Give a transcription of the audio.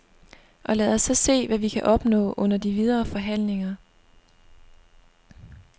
Og lad os så se, hvad vi kan opnå under de videre forhandlinger.